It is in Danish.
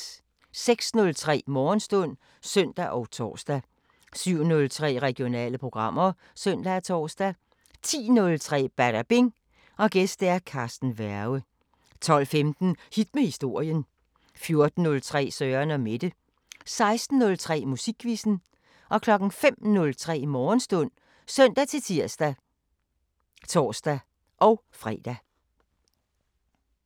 06:03: Morgenstund (søn og tor) 07:03: Regionale programmer (søn og tor) 10:03: Badabing: Gæst Carsten Werge 12:15: Hit med historien 14:03: Søren & Mette 16:03: Musikquizzen 05:03: Morgenstund (søn-tir og tor-fre)